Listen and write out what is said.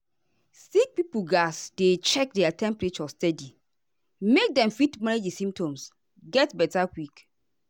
sick pipo gatz dey check their temperature steady make dem fit manage di symptoms get beta quick.